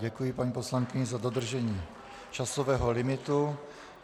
Děkuji paní poslankyni za dodržení časového limitu.